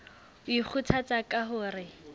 o ikgothatsa ka ho re